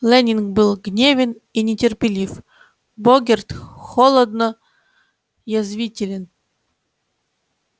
лэннинг был гневен и нетерпелив богерт холодно язвителен